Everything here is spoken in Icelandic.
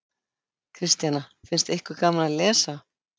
Kristjana: Finnst ykkur gaman að lesa?